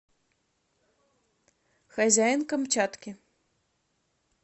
хозяин камчатки